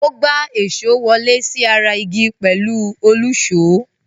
Ó gbá èṣó wọlé sí ara igi pẹ̀lú òlùṣó.